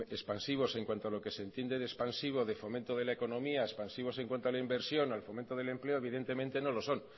hombre expansivos en cuanto a lo que se entiende de expansivo de fomento de la economía expansivos en cuanto a la inversión al fomento del empleo evidentemente no lo son